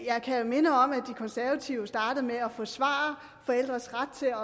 jeg kan minde om at de konservative startede med at forsvare forældres ret til